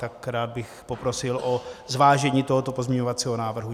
Tak rád bych poprosil o zvážení tohoto pozměňovacího návrhu.